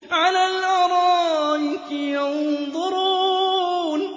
عَلَى الْأَرَائِكِ يَنظُرُونَ